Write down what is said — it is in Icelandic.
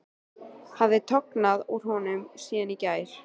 Hafði tognað úr honum síðan í gær?